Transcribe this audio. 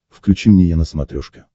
включи мне е на смотрешке